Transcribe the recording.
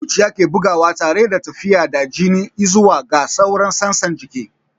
Zuciya ke bugawa tare da tafiyar da jini i'zuwa ga sauran sassan jiki.